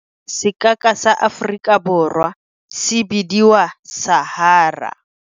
Sekaka sa Aforiwa Borwa se bidiwa Sahara.